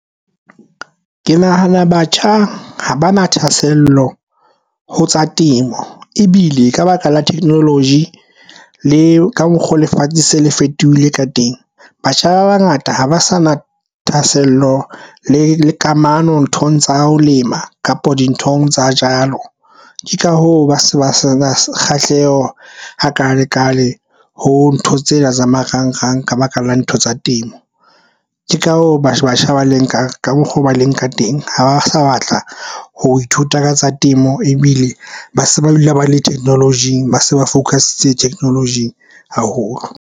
Ke nahana batjha ha ba na thahasello ho tsa temo ebile ka baka la technology le ka mokgo. Lefatshe se le fetohile ka teng. Batjha ba bangata ha ba sa na thahasello le le kamano nthong tsa ho lema kapo dinthong tsa jalo. Ke ka hoo, ba se ba sa na kgahleho a kalekale ho ntho tsena tsa marangrang ka baka la ntho tsa temo. Ke ka hoo batjha ba le nka ka mokgwa o ba le nka teng ha ba sa batla ho ithuta ka tsa temo ebile ba se ba dula ba le theknolojing, ba se ba focus-itse theknolojing haholo.